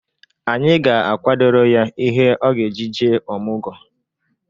Anyị ga-akwadoro ya ihe ọ ga-eji jee ọmụgọ.